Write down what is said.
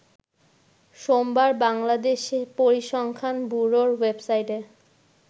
সোমবার বাংলাদেশ পরিসংখ্যান ব্যুরোর ওয়েবসাইটে